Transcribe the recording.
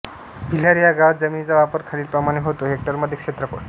भिलार ह्या गावात जमिनीचा वापर खालीलप्रमाणे होतो हेक्टरमध्ये क्षेत्रफळ